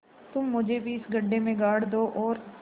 तुम मुझे भी इस गड्ढे में गाड़ दो और